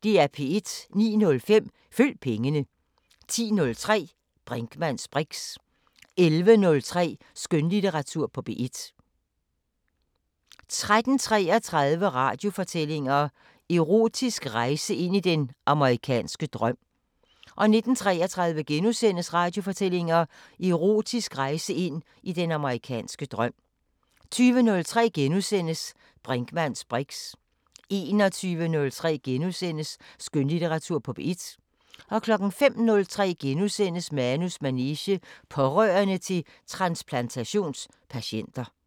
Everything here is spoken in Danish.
09:05: Følg pengene 10:03: Brinkmanns briks 11:03: Skønlitteratur på P1 13:33: Radiofortællinger: Erotisk rejse ind i den amerikanske drøm 19:33: Radiofortællinger: Erotisk rejse ind i den amerikanske drøm * 20:03: Brinkmanns briks * 21:03: Skønlitteratur på P1 * 05:03: Manus manege: Pårørende til transplantations-patienter *